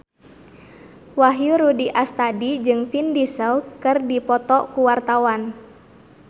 Wahyu Rudi Astadi jeung Vin Diesel keur dipoto ku wartawan